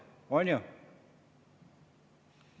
On ju?